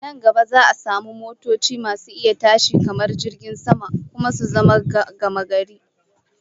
Nan gaba za'a samu motoci masu iya tashi kamar jirgin sama, kuma su zama gamagari